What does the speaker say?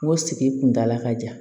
N ko sigi kundala ka ja